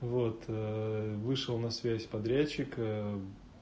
вот вышел на связь подрядчик